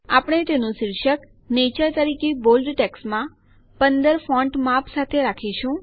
આપણે તેનું શીર્ષક નેચર તરીકે બોલ્ડ ટેક્સ્ટમાં ૧૫ ફોન્ટ માપ સાથે આપીશું